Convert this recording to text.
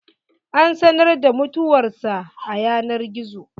An sanar da mutuwar sa a yanar gizo.